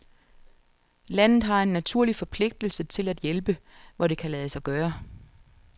Landet har en naturlig forpligtelse til at hjælpe, hvor det kan lade sig gøre.